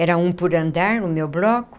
Era um por andar, no meu bloco.